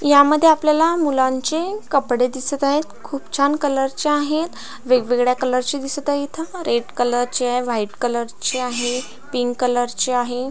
यामध्ये आपल्याला मुलांचे कपडे दिसत आहेत खुप छान कलर चे आहेत वेगवेगळ्या कलर चे दिसत आहेत इथ रेड कलर चे व्हाइट कलर चे आहे पिंक कलर चे आहे.